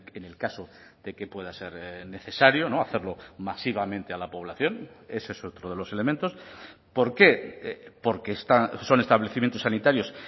en el caso de que pueda ser necesario no hacerlo masivamente a la población ese es otro de los elementos por qué porque son establecimientos sanitarios